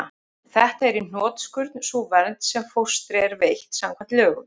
Þetta er í hnotskurn sú vernd sem fóstri er veitt samkvæmt lögum.